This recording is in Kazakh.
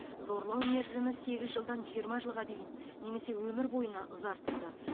зорлау мерзімі сегіз жылдан жиырма жылға дейін немесе өмір бойына ұзартылды